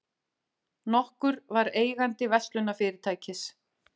nokkur var eigandi verslunarfyrirtækis.